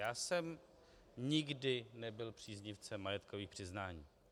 Já jsem nikdy nebyl příznivcem majetkových přiznání.